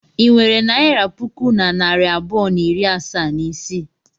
I nwere naira puku na narị abụọ na iri asaa na isii?